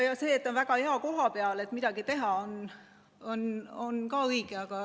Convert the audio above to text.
Ja see, et me oleme väga hea koha peal, et midagi teha, on ka õige.